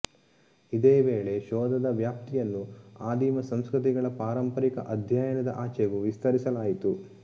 ಇದೇ ವೇಳೆ ಶೋಧದ ವ್ಯಾಪ್ತಿಯನ್ನು ಆದಿಮ ಸಂಸ್ಕೃತಿಗಳ ಪಾರಂಪರಿಕ ಅಧ್ಯಯನದ ಆಚೆಗೂ ವಿಸ್ತರಿಸಲಾಯಿತು